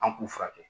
An k'u furakɛ